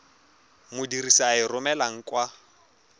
modirisi a e romelang kwa